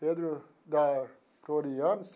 Pedro da.